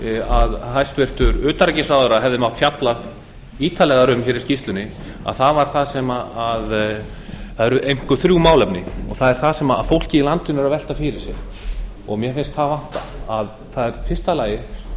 að hæstvirtur utanríkisráðherra hefði mátt fjalla ítarlegar um í skýrslunni eru einkum þrjú málefni og það er það sem fólkið í landinu er að velta fyrir sér mér finnst það vanta í fyrsta lagi